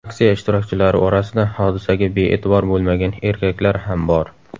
Aksiya ishtirokchilari orasida hodisaga bee’tibor bo‘lmagan erkaklar ham bor.